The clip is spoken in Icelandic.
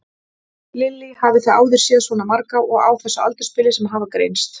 Lillý: Hafið þið áður séð svona marga og á þessu aldursbili sem hafa greinst?